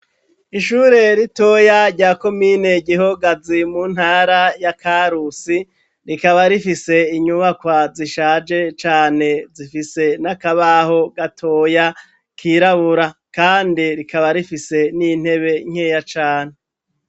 Ishure ritoya rya komine gihogazi mu ntara ya karusi rikaba rifise inyubakwa zishaje cane zifise n'akabaho gatoya kirabura kandi rikaba rifise n'intebe nkeya cane.